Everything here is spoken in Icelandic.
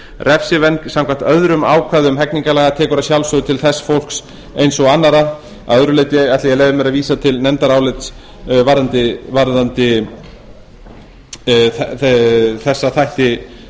refsivernd samkvæmt öðrum ákvæðum hegningarlaga tekur að sjálfsögðu til þess fólks eins og annarra að öðru leyti ætla ég að leyfa mér að vísa til nefndarálits varðandi þessa þætti